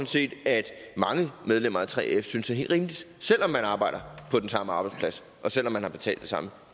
set at mange medlemmer af 3f synes er helt rimeligt selv om man arbejder på den samme arbejdsplads og selv om man har betalt det samme